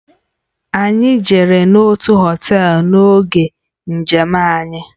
Anyị jere n'otu họtel n'oge njem anyị.